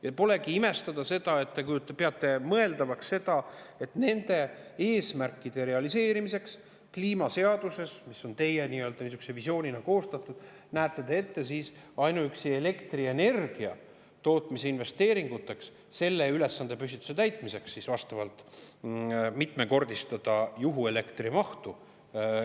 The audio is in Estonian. Ja nii polegi imestada, et te peate mõeldavaks seda, et nende kliimaseaduse eesmärkide realiseerimiseks, mis teie visioonina, näete te ette ainuüksi seda, et elektrienergia tootmise investeeringute mitmekordistada juhuelektri tootmise mahtu.